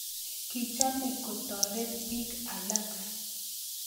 Kichome ketoret pik alak.